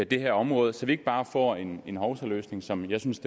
det her område så vi ikke bare får en en hovsaløsning som jeg synes